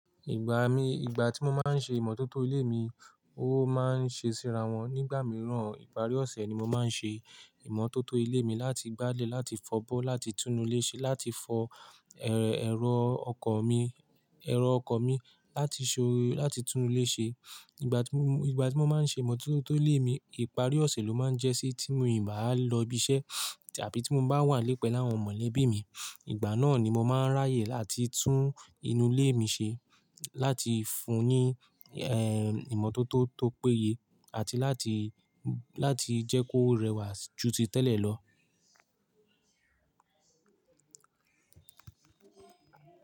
Ìgbà mi, ìgbà tí mo máa ń ṣe ìmọ́tótó ilé mi, ó máa ń ṣe síra wọn. Nígbà mìíràn, ìparí ọ̀sẹ̀ ni mo máa ń ṣe ìmọ́tótó ilé mi láti gbálè láti fọ́bọ́, láti tún inú ilé ṣe, láti fọ ẹrọ ọkọ̀ mi, ẹrọ ọkọ mi, láti so, láti tún ilé ṣe. Ìgbà tí mo, ìgbà tí mo máa ń ṣe ìmọ́tótó ilé mi, ìparí ọ̀sẹ̀ ló máa ń jẹ́ sí tí mi ì bá lọ ibi iṣẹ́ àbí tí mo bá wà lẹ́pẹ̀ẹ́ láwọn mọ̀lẹ́bí mi. Ìgbà náà ni mo máa ń ráyè láti tún inú ilé mi ṣe, láti fún un ní ẹ́, ìmọ́tótó tó péye àti láti, láti jẹ́ kó rẹwà ju ti tẹ́lẹ̀ lọ.